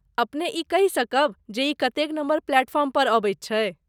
अपने ई कहि सकब जे ई कतेक नम्बर प्लेटफॉर्म पर अबैत छै?